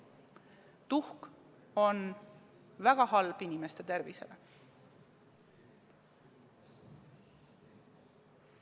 Tuhk on väga halb inimeste tervisele.